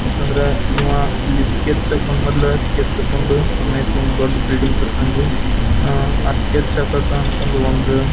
ಮತ್ತಂದ್ರ ಇವ ಸ್ಕೆಚ್ ಹಾಕ್ಕೊಂಡ್ ಅಮ್ಯಾಕ್ ಒಂದು ದೊಡ್ಡ್ ಬಿಲ್ಡಿಂಗ್ ಕಟ್ಟುತಾನ್ ರೀ ಆಹ್ಹ್ ಸ್ಕೆಚ್ ಹಾಕೋಕ ಅಂತಂದ್ ಒಂದು--